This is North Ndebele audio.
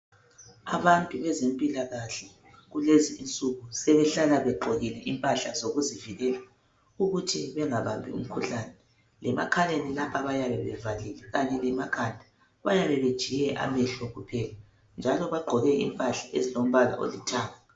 Abantu bezempilakahle kulezi nsuku sebehlala begqokile impahla zokuzivikela ukuthi bengabambi umkhuhlane lemakhaleni lapha bayabe bevalile kanye lemakhanda bayabe betshiye amehlo kuphela njalo bagqoke impahla ezilombala olithanga